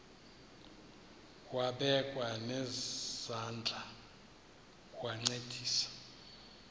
wabekwa nezandls wancedisa